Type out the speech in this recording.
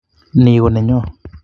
Ni konenyo